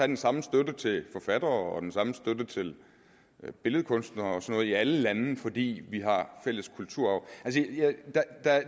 den samme støtte til forfattere og den samme støtte til billedkunstnere og noget i alle lande fordi vi har fælles kulturarv